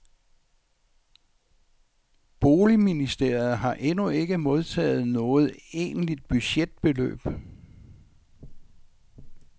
Boligministeriet har endnu ikke modtaget noget egentligt budgetbeløb.